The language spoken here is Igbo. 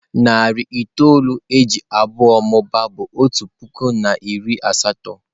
Narị itoolu e ji abụọ mụbaa bụ otu puku na narị asatọ.